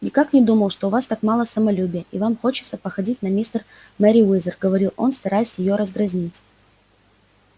никак не думал что у вас так мало самолюбия и вам хочется походить на мистер мерриуэзер говорил он стараясь её раздразнить